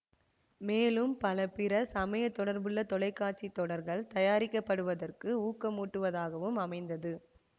மேலும் பல பிற சமய தொடர்புள்ள தொலை காட்சி தொடர்கள் தயாரிக்கப்படுவதற்கு ஊக்கமூட்டுவதாகவும் அமைந்தது